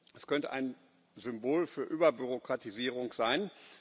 Es könnte ein Symbol für Überbürokratisierung sein.